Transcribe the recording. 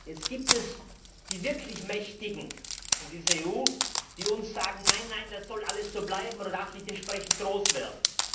Jetzt gibt es die wirklich Mächtigen in dieser EU, die uns sagen Nein, nein, das soll alles so bleiben oder darf nicht entsprechend groß werden.